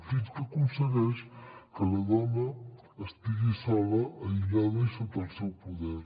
fins que aconsegueix que la dona estigui sola aïllada i sota el seu poder